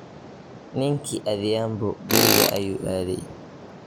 Ninki Adhiambo kuriga ayu aadhey.